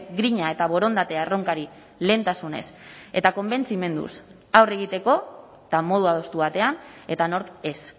grina eta borondatea erronkari lehentasunez eta konbentzimenduz aurre egiteko eta modu adostu batean eta nork ez